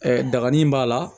daganni b'a la